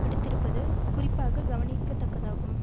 விடுத்திருப்பது குறிப்பாக கவனிக்கத்தக்கதாகும்